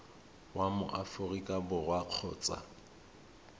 wa mo aforika borwa kgotsa